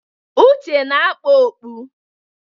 Uche na-akpa okpu.